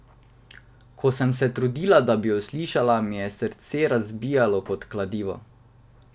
Ko sem se trudila, da bi jo slišala, mi je srce razbijalo kot kladivo.